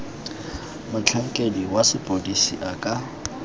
motlhankedi wa sepodisi a ka